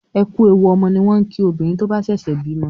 Ẹ ku èwù ọmọ ni wọn kí obìnrin tó ń bá sèsè bímo